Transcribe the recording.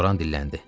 Loran dilləndi.